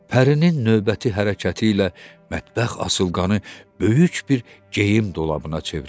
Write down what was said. Pərinin növbəti hərəkəti ilə mətbəx asılqanı böyük bir geyim dolabına çevrildi.